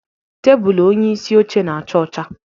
Tebụl onyeisi oche na-acha ọcha